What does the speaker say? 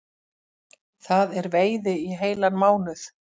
Það er veiði í heilan mánuð